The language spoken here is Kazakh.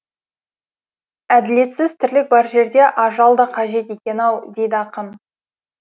әділетсіз тірлік бар жерде ажал да қажет екен ау дейді ақын